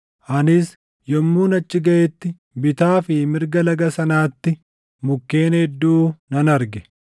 Anis yommuun achi gaʼetti bitaa fi mirga laga sanaatti mukkeen hedduu nan arge.